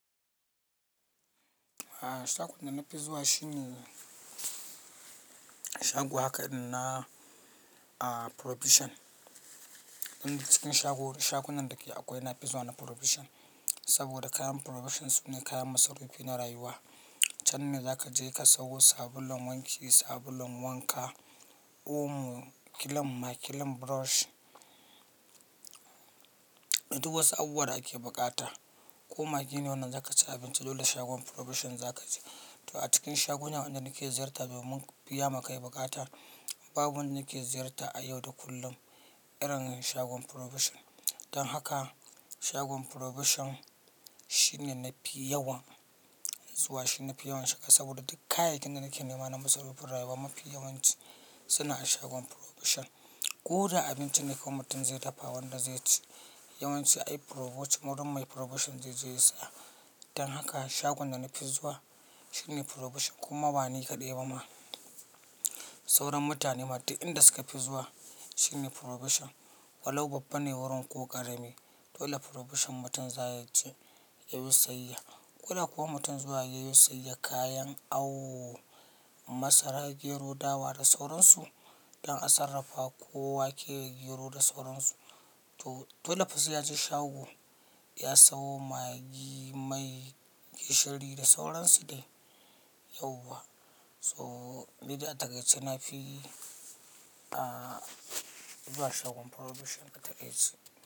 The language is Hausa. Shagon da na fi zuwa shi ne shago haka na Provision. Duk cikin shago, shagunan dake akwai na fi zuwa na Provision, saboda kayan provision sune kayan masarufi na rayuwa. Can ne za ka je ka sawo sabulun wanki, sabulun wanka, omo, kilim, makilim, brush. Da duk wasu abubuwa da ake buƙata. Ko maggi ne wanda za ka ci abinci dole shagon Provision za ka je. To a cikin shagunan wanda nake ziyarta domun biya ma kai buƙata babu wanda nake ziyarta a yau da kullum irin shagon Provision. Dan haka. Shagon Provision shine na fi yawan zuwa, shi na fi yawan shiga saboda duk kayayyakin da nake nema na masarufin rayuwa mafi yawanci suna a shagon Provision. Ko da abinci ne ko mutum zai dafa wanda zai ci, yawanci ai Provision wurin mai Provision zai je ya saya. Dan haka shagon da na fi zuwa. Shine Provision kuma ba ni kaɗai ba ma, sauran mutane ma duk inda suka fi zuwa shine Provision. Walau babba ne wurin ko ƙarami, dole Provision mutum za ya je ya yo sayayya. Ko da kuwa mutum zuwa yayi sayayya kayan awo, masara, gero, dawa da sauran su don a sarrafa. Ko wake da gero da sauran su, to dole fa sai ya je shago ya sawo magi, mai, gishiri da sauran su dai yauwa. Shagon Provision shine na fi yawan zuwa, shi na fi yawan shiga saboda duk kayayyakin da nake nema na masarufin rayuwa mafi yawanci suna a shagon Provision.